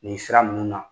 Nin sira nunnu na